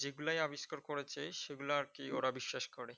যেইগুলাই আবিষ্কার করেছে সেগুলো আর কি ওরা বিশ্বাস করে।